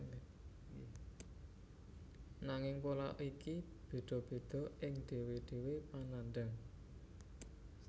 Nanging pola iki bedha bedha ing dhewe dhewe panandhang